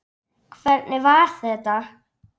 Hvernig var þetta?!